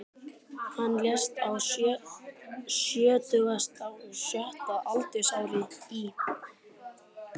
Hann lést á sjötugasta og sjötta aldursári í